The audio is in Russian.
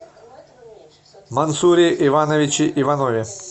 мансуре ивановиче иванове